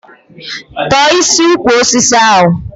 Tọ̀ọ́ isi ukwu ose ahụ!